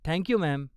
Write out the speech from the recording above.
Thank you, ma'am.